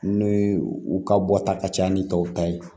N'o ye u ka bɔta ka ca ni tɔw ta ye